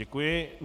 Děkuji.